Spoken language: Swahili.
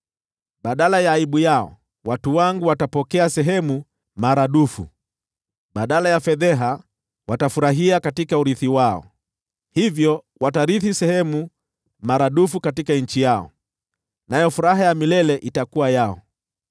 Badala ya aibu yao watu wangu watapokea sehemu maradufu, na badala ya fedheha watafurahia katika urithi wao; hivyo watarithi sehemu maradufu katika nchi yao, nayo furaha ya milele itakuwa yao.